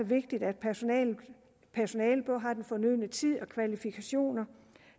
vigtigt at personalet har den fornødne tid og kvalifikationer